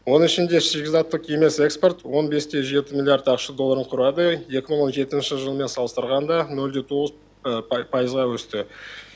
оның ішінде шикізаттық емес экспорт он бесте жеті миллиард ақш долларын құрады екі мың он жетінші жылмен салыстырғанда нөлде тоғыз пайызға өсті